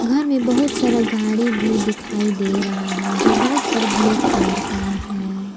घर में बहुत सारा गाड़ी भी दिखाई दे रहा है जो वाइट और ब्लैक कलर का है।